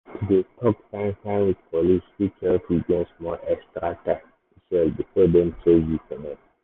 to dey talk fine-fine with police fit help you gain small extra time to sell before dem chase you comot.